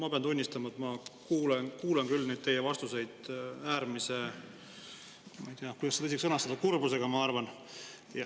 Ma pean tunnistama, et ma kuulan teie vastuseid – ma ei tea, kuidas seda isegi sõnastada – äärmise kurbusega, ma arvan.